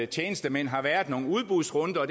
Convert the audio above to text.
tjenestemænd har været nogle udbudsrunder